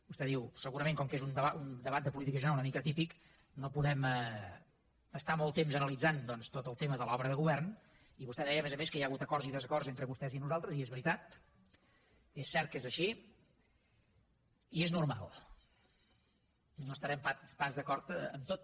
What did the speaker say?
vostè diu segurament com que és un debat de política general una mica atípic no podem estar molt temps analitzant doncs tot el tema de l’obra de govern i vostè deia a més a més que hi ha hagut acords i desacords entre vostès i nosaltres i és veritat és cert que és així i és normal no estarem pas d’acord en tot